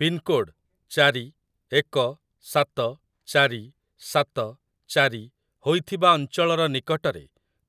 pincode ଚାରି ଏକ ସାତ ଚାରି ସାତ ଚାରି ହୋଇଥିବା ଅଞ୍ଚଳର ନିକଟରେ